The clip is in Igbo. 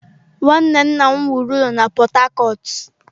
Nwanne nna m wuru ụlọ na Port-Harcourt.